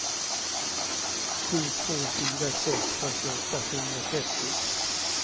sju två fyra sex fyrtioåtta sjuhundratrettio